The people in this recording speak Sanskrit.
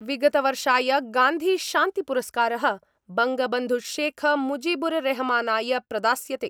विगतवर्षाय गान्धीशान्तिपुरस्कार: बंगबन्धुशेखमुजिबुररेहमानाय प्रदास्यते।